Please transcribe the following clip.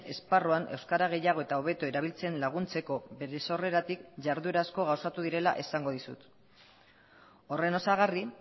esparruan euskara gehiago eta hobeto erabiltzen laguntzeko bere sorreratik jarduera asko gauzatu direla esango dizut horren osagarri